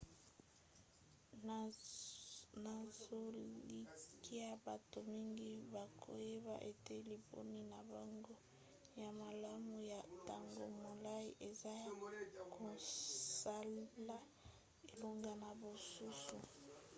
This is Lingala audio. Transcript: nazolikia bato mingi bakoyeba ete liponi na bango ya malamu ya ntango molai eza ya kosala elongo na basusu